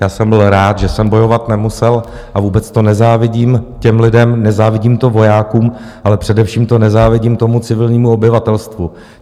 Já jsem byl rád, že jsem bojovat nemusel, a vůbec to nezávidím těm lidem, nezávidím to vojákům, ale především to nezávidím tomu civilnímu obyvatelstvu.